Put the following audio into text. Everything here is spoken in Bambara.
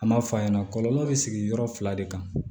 An m'a fɔ a ɲɛna kɔlɔlɔ bɛ sigi yɔrɔ fila de kan